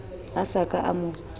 a sa ka a mo